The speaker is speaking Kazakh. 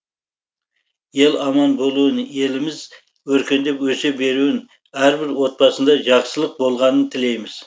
ел аман болуын еліміз өркендеп өсе беруін әрбір отбасында жақсылық болғанын тілейміз